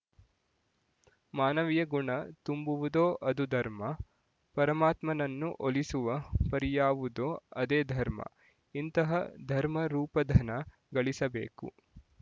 ಮಾನವಿಯ ಗುಣ ತುಂಬುವುದೋ ಅದು ಧರ್ಮ ಪರಮಾತ್ಮನನ್ನು ಒಲಿಸುವ ಪರಿಯಾವುದೋ ಅದೇ ಧರ್ಮ ಇಂತಹ ಧರ್ಮರೂಪಧನ ಗಳಿಸಬೇಕು